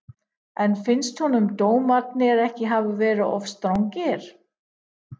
En finnst honum dómarnir ekki hafa verið of strangir?